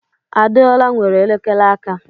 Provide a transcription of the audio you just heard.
Adeola nwere elekere aka.